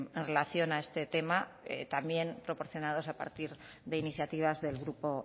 en relación a este tema también proporcionados a partir de iniciativas del grupo